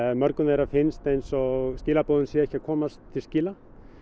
mörgum þeirra finnst eins og skilaboðin séu ekki að komast til skila